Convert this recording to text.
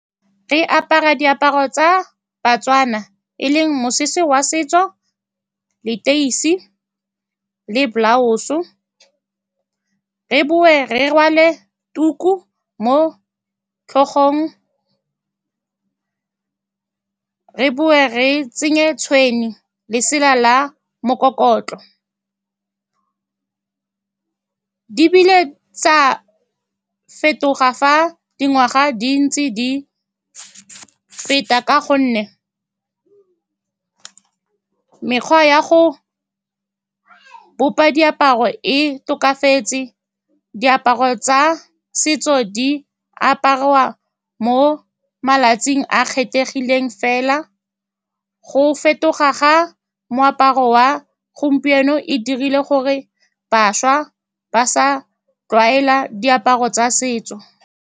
Re apara diaparo tsa Batswana, e leng mosese wa setso, leteisi le blouse-e. So, re boe re rwale tuku mo tlhogong, re tsenye tshwene, lesela la mokokotlo. Di bile tsa fetoga fa dingwaga di ntse di feta ka gonne mekgwa ya go bopa diaparo e tokafetse. Diaparo tsa setso di apariwa mo malatsing a a kgethegileng fela. Go fetoga ga moaparo wa gompieno e dirile gore bašwa ba sa tlwaela diaparo tsa setso.